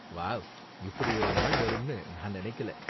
Wow, இப்படி ஒரு நாள் வரும்னு நான் நெனக்கல.